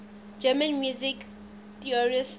german music theorists